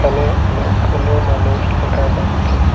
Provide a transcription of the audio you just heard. এখানে অনেকগুলো মানুষ দেকা যাচ্চে।